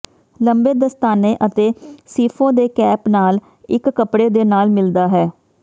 ਲੰਬੇ ਦਸਤਾਨੇ ਅਤੇ ਸ਼ੀਫੋਂ ਦੇ ਕੇਪ ਨਾਲ ਇੱਕ ਕੱਪੜੇ ਦੇ ਨਾਲ ਮਿਲਦਾ ਹੈ